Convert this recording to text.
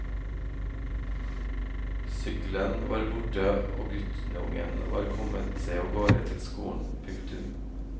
Sykkelen var borte og guttungen var kommet seg avgårde til skolen. punktum